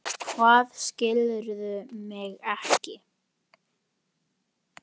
Hvað, skilurðu mig ekki?